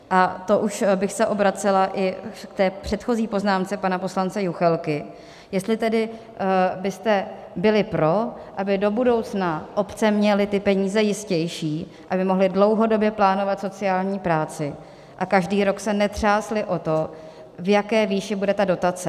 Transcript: A to už bych se obracela i k té předchozí poznámce pana poslance Juchelky, jestli tedy byste byli pro, aby do budoucna obce měly ty peníze jistější, aby mohly dlouhodobě plánovat sociální práci a každý rok se netřásly o to, v jaké výši bude ta dotace.